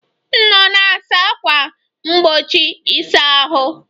M nọ na-asa ákwà mgbochi ịsa ahụ